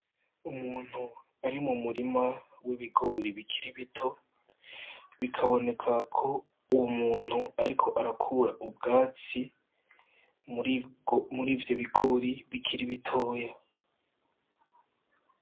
Umuntu ari mu murima w'ibigori bikiri bito, bikabonekako uwo muntu ariko arakur'ubwatsi murivyo bigori bikiri bitoya.